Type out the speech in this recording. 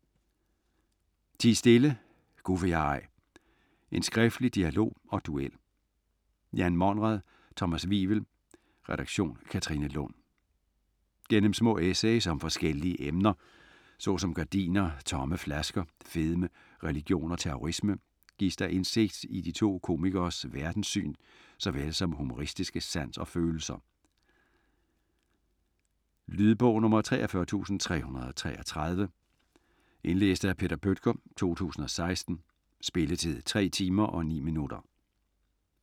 Ti stille! Gu' vil jeg ej: en skriftlig dialog og duel Jan Monrad ; Thomas Wivel, redaktion: Katrine Lund. Gennem små essays om forskellige emner såsom gardiner, tomme flasker, fedme, religion og terrorisme, gives der indsigt i de to komikeres verdenssyn såvel som humoristiske sans og følelser. Lydbog 43333 Indlæst af Peter Bøttger, 2016. Spilletid: 3 timer, 9 minutter.